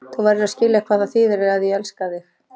Þú verður að skilja hvað það þýðir að ég elska þig.